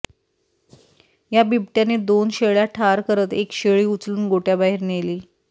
या बिबट्यानी दोन शेळ्या ठार करत एक शेळी उचलून गोठ्याबाहेर नेली